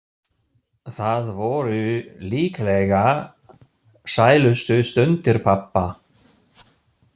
Það voru líklega sælustu stundir pabba.